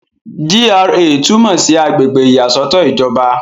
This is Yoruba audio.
GRA túmọ̀ sí àgbègbè ìyàsọ́tọ̀ ìjọba.